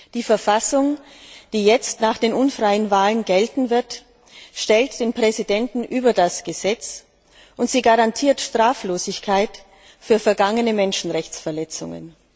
Die Verfassung, die jetzt nach den unfreien Wahlen gelten wird, stellt den Präsidenten über das Gesetz, und sie garantiert Straflosigkeit für vergangene Menschenrechtsverletzungen.